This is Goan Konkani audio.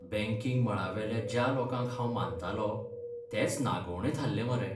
बॅंकिंग मळावेल्या ज्या लोकांक हांव मानतालों तेच नागोवणे थाल्ले मरे.